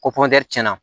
Ko tiɲɛna